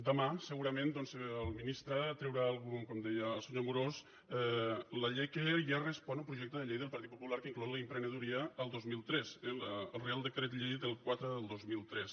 demà segurament doncs el ministre traurà com deia el senyor amorós la llei que ja respon a un projecte de llei del partit popular que inclou l’emprenedoria del dos mil tres el reial decret llei quatre del dos mil tres